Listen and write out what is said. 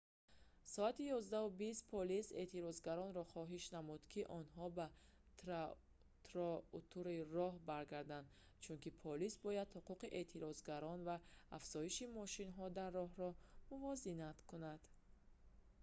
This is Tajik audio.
соати 11:20 полис эътирозгаронро хоҳиш намуд ки онҳо ба тротуари роҳ баргарданд чунки полис бояд ҳуқуқи эътирозгарон ва афзоиши мошинҳо дар роҳро мувозинат кунад